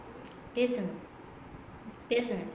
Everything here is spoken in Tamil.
பேசுங்க பேசுங்க